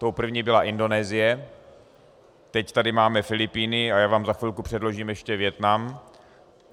Tou první byla Indonésie, teď tady máme Filipíny a já vám za chvilku předložím ještě Vietnam.